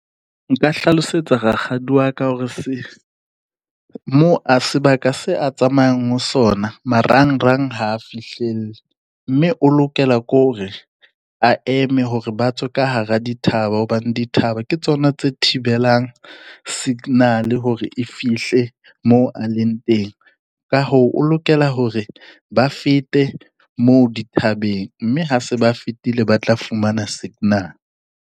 Nka hlalosetsa rakgadi wa ka hore mo a sebaka se a tsamayang ho sona marang-rang ha a fihlelle. Mme o lokela ke hore, a eme hore ba tswe ka hara dithaba hobane dithaba ke tsona tse thibelang signal-e hore e fihle moo a leng teng. Ka hoo o lokela hore ba fete moo dithabeng mme ha se ba fetile, ba tla fumana signal.